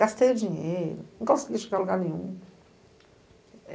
Gastei dinheiro, não consegui chegar a lugar nenhum.